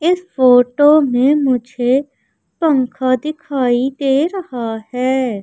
इस फोटो में मुझे पंखा दिखाई दे रहा है।